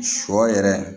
Sɔ yɛrɛ